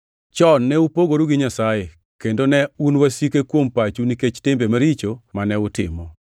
Chon ne upogoru gi Nyasaye, kendo ne un wasike kuom pachu nikech timbe maricho mane utimo.